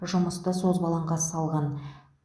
жұмысты созбалаңға салған